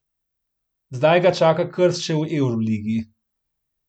Zdaj ga čaka krst še v evroligi.